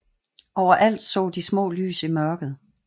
Overalt så de små lys i mørket